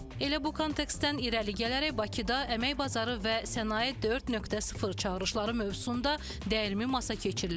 Elə bu kontekstdən irəli gələrək Bakıda əmək bazarı və sənaye 4.0 çağırışları mövzusunda dəyirmi masa keçirilib.